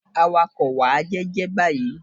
Awakọ̀! Wà á jẹ́ jẹ́ báyìí.